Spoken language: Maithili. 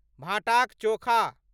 भाँटाक चोखा